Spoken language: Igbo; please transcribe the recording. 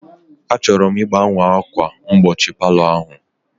Achọrọ m ịgbanwe ákwà mgbochi palọ ahụ